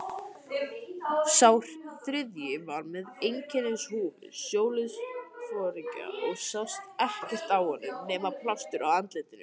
Sá þriðji var með einkennishúfu sjóliðsforingja og sást ekkert á honum nema plástur á andliti.